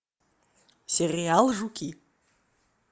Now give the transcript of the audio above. сериал жуки